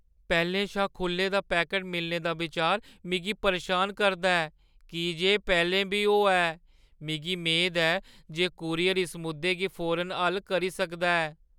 पैह्‌लें शा खुʼल्ले दा पैकट मिलने दा बिचार मिगी परेशान करदा ऐ की जे एह् पैह्‌लें बी होआ ऐ; मिगी मेद ऐ जे कूरियर इस मुद्दे गी फौरन हल करी सकदा ऐ।